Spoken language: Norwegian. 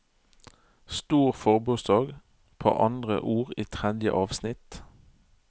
Stor forbokstav på andre ord i tredje avsnitt